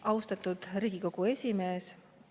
Austatud Riigikogu esimees!